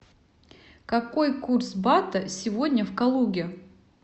какой курс бата сегодня в калуге